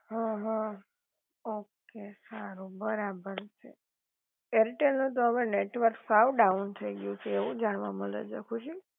હઅ, હઅ, ઓકે સારું બરાબર એરટેલ નું તો હવે નેટવર્ક સાવ ડાઉન થઈ ગયું છે એવું જાણવા મલે છે ખુશી